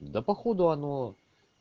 да походу оно